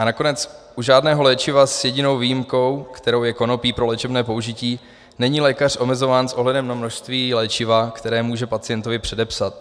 A nakonec u žádného léčiva s jedinou výjimkou, kterou je konopí pro léčebné použití, není lékař omezován s ohledem na množství léčiva, které může pacientovi předepsat.